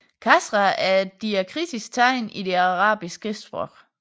Kasra er et diakritisk tegn i det arabiske skriftsprog